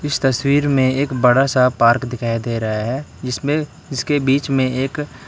इस तस्वीर में एक बड़ा सा पार्क दिखाई दे रहा है जिसमें जिसके बीच में एक --